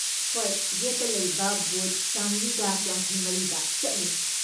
ꯍꯣꯏ, ꯌꯦꯠꯇ ꯂꯩꯕ ꯕꯨꯊ ꯆꯥꯃ꯭ꯔꯤꯒ ꯌꯥꯡꯈꯩꯃꯔꯤꯗ ꯆꯠꯂꯨ꯫